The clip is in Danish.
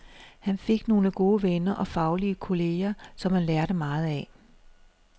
Han fik nogle gode venner og faglige kolleger, som han lærte meget af.